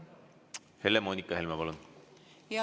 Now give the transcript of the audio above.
Helle‑Moonika Helme, palun!